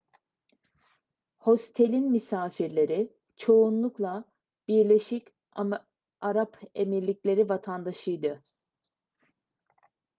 hostelin misafirleri çoğunlukla birleşik arap emirlikleri vatandaşıydı